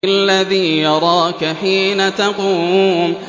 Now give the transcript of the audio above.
الَّذِي يَرَاكَ حِينَ تَقُومُ